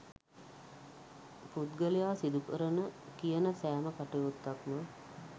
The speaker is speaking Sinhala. පුද්ගලයා සිදුකරන කියන සෑම කටයුත්තක්ම